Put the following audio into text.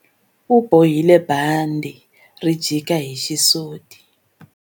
U bohile bandhi ri jika hi xisuti.